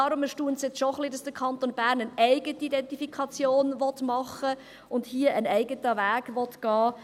Daher erstaunt es jetzt schon etwas, dass der Kanton Bern eine eigene Identifikation machen und hier einen eigenen Weg gehen will.